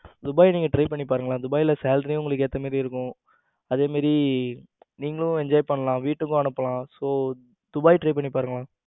துபாய நீங்க try பண்ணி பாருங்களேன் துபாய்ல salary உங்களுக்கு ஏத்த மாதிரி இருக்கும். அதே மாதிரி நீங்களும் enjoy பண்ணலாம் வீட்டுக்கு அனுப்பலாம் so துபாய் try பண்ணி பாருங்களேன்